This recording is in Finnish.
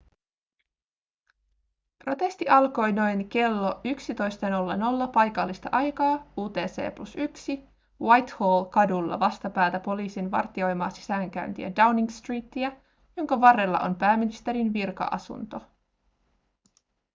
protesti alkoi noin klo 11.00 paikallista aikaa utc+1 whitehall-kadulla vastapäätä poliisin vartioimaa sisäänkäyntiä downing streetiä jonka varrella on pääministerin virka-asunto